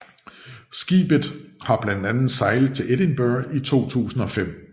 Skibet har blandt andet sejlet til Edinburgh i 2005